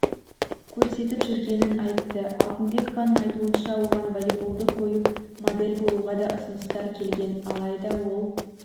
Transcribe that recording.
көрсетіп жүргенін айтты алтынбекованың айтуынша оған волейболды қойып модель болуға да ұсыныстар келген алайда ол